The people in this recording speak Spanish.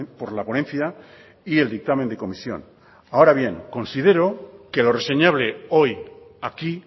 por la ponencia y el dictamen de comisión ahora bien considero que lo reseñable hoy aquí